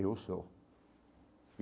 Eu sou.